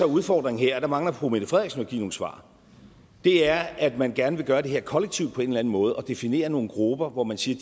udfordringen her og der mangler fru mette frederiksen at give nogle svar er at man gerne vil gøre det her kollektivt på en eller anden måde og definere nogle grupper hvor man siger